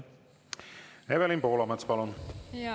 Evelin Poolamets, palun!